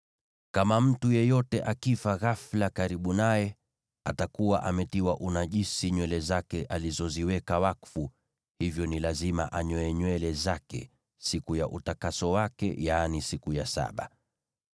“ ‘Kama mtu yeyote akifa ghafula karibu naye, atakuwa ametiwa unajisi nywele zake alizoziweka wakfu, hivyo ni lazima anyoe nywele zake siku ya utakaso wake, yaani siku ya saba.